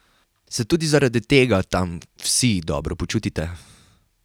Se tudi zaradi tega tam vsi dobro počutite?